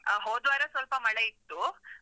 ಆ, ಹೋದ್ವಾರ ಸ್ವಲ್ಪ ಮಳೆ ಇತ್ತು.